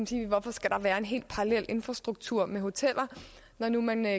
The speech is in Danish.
sige hvorfor skal der være en helt parallel infrastruktur med hoteller når nu man